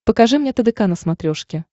покажи мне тдк на смотрешке